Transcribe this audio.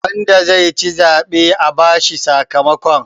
wanda ya ci zaɓe za a bashi sakamakon